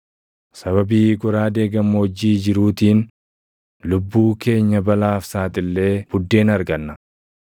Sababii goraadee gammoojjii jiruutiin lubbuu keenya balaaf saaxillee buddeena arganna.